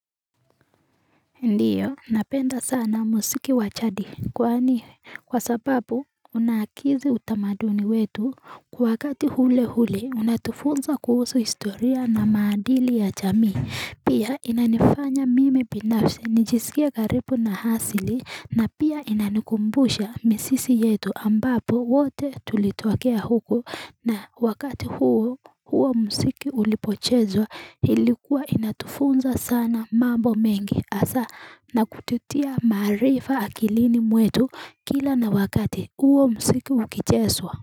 Ndiyo napenda sana muziki wa jadi kwani kwa sababu unaakizi utamaduni wetu kwa wakati ule ule unatufunza kuhusu historia na maadili ya jamii Pia inanifanya mimi binafsi nijisikie karibu na asili na pia inanikumbusha mizizi yetu ambapo wote tulitokea huko na wakati huo huo muziki ulipochezwa ilikuwa inatufunza sana mambo mengi hasa na kututia maarifa akilini mwetu kila na wakati huo muziki ukichezwa.